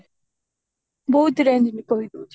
ବହୁତ range ବିକା ବି ହଉଚି